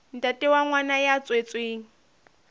ntate wa ngwana ya tswetsweng